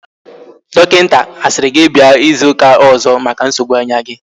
Dokinta asiri gi bia izu uka ozo maka nsogbu anya gi?